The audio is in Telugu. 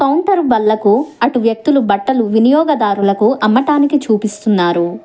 కొంతరు బల్లకు అటు వ్యక్తులు బట్టలు వినియోగదారులకు అమ్మటానికి చూపిస్తూన్నారు.